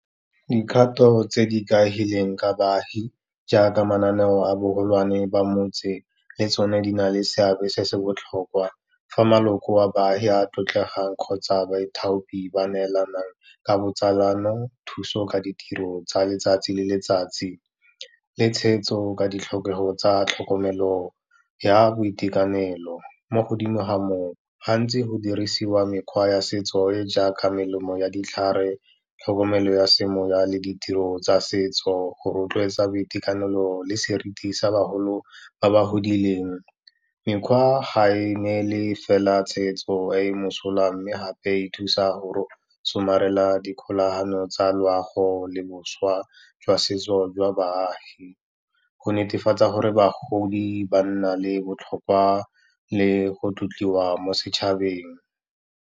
Dikgato tse di ikaegileng ka baagi jaaka mananeo a bogolwane ba motse, le tsone di na le seabe se se botlhokwa fa maloko a baagi a tlotlegang kgotsa baithaopi ba neelanang ka botsalano, thuso ka ditiro tsa letsatsi le letsatsi, le tshegetso ka ditlhokego tsa tlhokomelo ya boitekanelo. Mo godimo ga moo, gantsi go dirisiwa mekgwa ya setso e jaaka melemo ya ditlhare, tlhokomelo ya semoya le ditiro tsa setso go rotloetsa boitekanelo le seriti sa bagolo ba ba godileng. Mekgwa ga e ne le fela tshegetso e e mosola, mme gape e thusa gore somarela dikgonagalo tsa loago le boswa jwa setso jwa baagi, go netefatsa gore bagodi ba nna le botlhokwa le go tlotliwa mo setšhabeng.